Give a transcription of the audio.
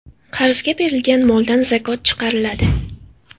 Qarzga berilgan moldan zakot chiqariladi.